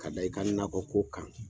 Ka da i ka nakɔ ko kan.